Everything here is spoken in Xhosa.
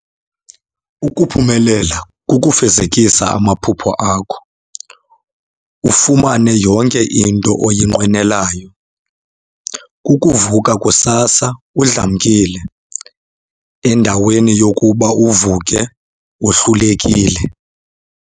Ukuphumelela kukufezekisa amaphupha akho ,ufumane yonke into oyinqwenelayo .Kukuvuka kusasa udlamkile endaweni yokuba uvuke wohlulekile.